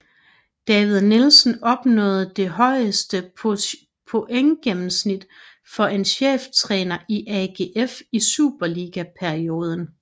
David Nielsen opnåede det højeste pointgennemsnit for en cheftræner i AGF i superligaperioden